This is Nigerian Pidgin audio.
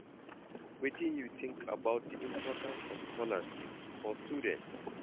Wetin you think about di importance of scholarships for students?